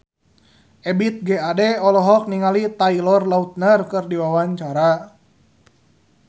Ebith G. Ade olohok ningali Taylor Lautner keur diwawancara